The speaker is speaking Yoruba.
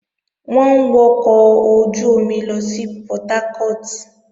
Wọ́n ń wọkọ̀ ojú-omi lọ sí Portharcourt